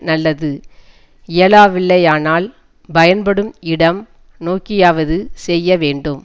நல்லது இயலாவில்லையானால் பயன்படும் இடம் நோக்கியாவது செய்ய வேண்டும்